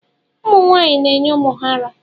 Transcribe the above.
Ụmụ nwaanyị na-enye ụmụ ha ara.